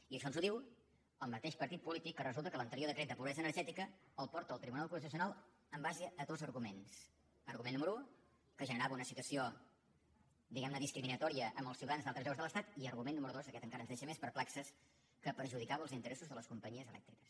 i això ens ho diu el mateix partit polític que resulta que l’anterior decret de pobresa energètica el porta al tribunal constitucional en base a dos arguments argument número un que generava una situació diguem ne discriminatòria amb els ciutadans d’altres llocs de l’estat i argument número dos aquest encara ens deixa més perplexos que perjudicava els interessos de les companyies elèctriques